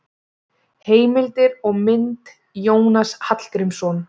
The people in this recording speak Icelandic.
Heimildir og mynd: Jónas Hallgrímsson.